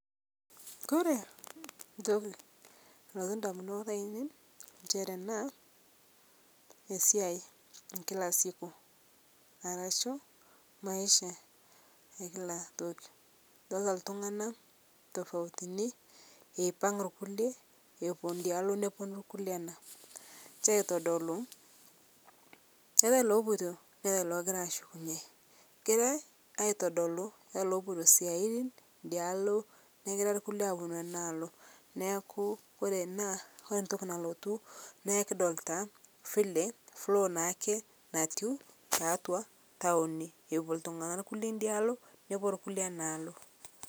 Kore ntoki nalotu ndamunot ainen nchere naa esiai ekila siku arashu maisha ekila tokii idoltaa ltung'ana tofautini eipang' lkulie epuo ndialo neponuu lkulie ana nshe aitodolu keata lopoito neata logira ashukunye egirai aitodoluu keata lopoito siatin idialo negira lkulie aponu ana aloo naaku kore ana kore ntoki nalotu naa kdolita vile flow naake natiu taatua tawoni epuo ltung'ana kulie idia alo nepuo lkulie ana aloo.